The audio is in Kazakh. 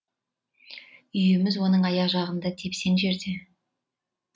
үйіміз оның аяқ жағындағы тепсең жерде